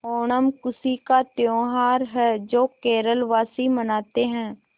ओणम खुशी का त्यौहार है जो केरल वासी मनाते हैं